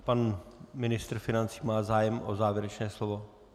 Pan ministr financí má zájem o závěrečné slovo?